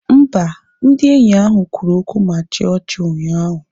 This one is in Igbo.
Mba, ndị enyi ahụ kwuru okwu ma chịa ọchị ụnyaahụ